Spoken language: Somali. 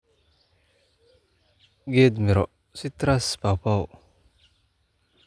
"Geed miro-citrus, pawpaw."